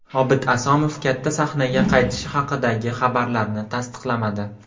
Obid Asomov katta sahnaga qaytishi haqidagi xabarlarni tasdiqlamadi.